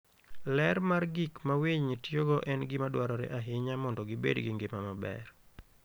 Ler mar gik ma winy tiyogo en gima dwarore ahinya mondo gibed gi ngima maber.